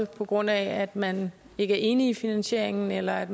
på grund af at man ikke er enige i finansieringen eller at